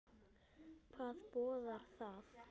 Hvað boðar það?